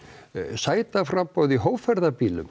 sætaframboð í